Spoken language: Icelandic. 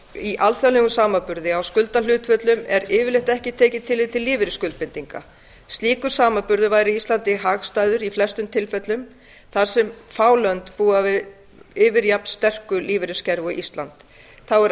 í alþjóðlegum samanburði á skuldahlutföllum er yfirleitt ekki tekið tillit til lífeyrisskuldbindinga slíkur samanburður væri íslandi hagstæður í flestum tilvikum þar sem fá lönd búa yfir jafn sterku lífeyriskerfi og ísland þá er